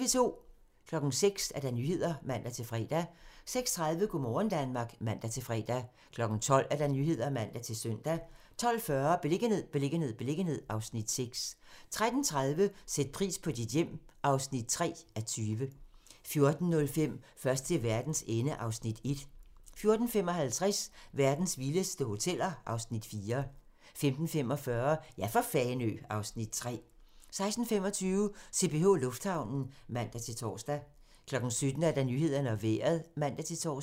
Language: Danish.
06:00: Nyhederne (man-fre) 06:30: Go' morgen Danmark (man-fre) 12:00: Nyhederne (man-søn) 12:40: Beliggenhed, beliggenhed, beliggenhed (Afs. 6) 13:30: Sæt pris på dit hjem (3:20) 14:05: Først til verdens ende (Afs. 1) 14:55: Verdens vildeste hoteller (Afs. 4) 15:45: Ja for Fanø (Afs. 3) 16:25: CPH Lufthavnen (man-tor) 17:00: Nyhederne og Vejret (man-tor)